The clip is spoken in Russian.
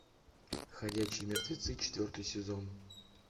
ходячие мертвецы четвертый сезон